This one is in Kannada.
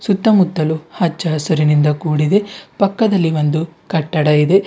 ಸುತ್ತ ಮುತ್ತಲೂ ಹಚ್ಚ ಹಸುರಿನಿಂದ ಕೂಡಿದೆ ಪಕ್ಕದಲ್ಲಿ ಒಂದು ಕಟ್ಟಡ ಇದೆ.